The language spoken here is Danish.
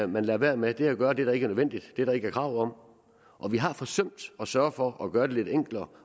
man lader være med at gøre det der ikke er nødvendigt det der ikke er krav om vi har forsømt at sørge for at gøre det lidt enklere